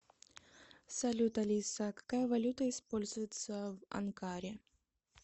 салют алиса какая валюта используется в анкаре